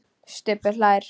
Stubbur hlær.